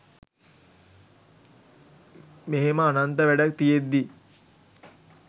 මෙහෙම අනන්ත වැඩ තියෙද්දී